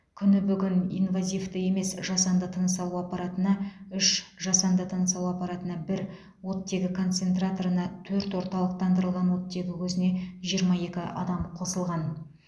күні бүгін инвазивті емес жасанды тыныс алу аппаратына үш жасанды тыныс алу аппаратына бір оттегі концентраторына төрт орталықтандырылған оттегі көзіне жиырма екі адам қосылған